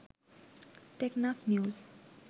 Teknaf news